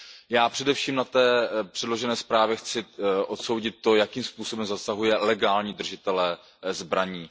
Já především na té předložené zprávě chci odsoudit to, jakým způsobem zasahuje legální držitele zbraní.